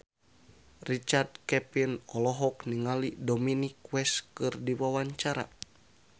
Richard Kevin olohok ningali Dominic West keur diwawancara